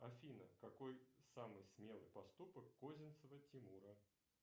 афина какой самый смелый поступок козинцева тимура